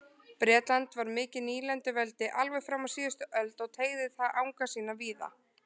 Bretland var mikið nýlenduveldi alveg fram á síðust öld og teygði það anga sína víða.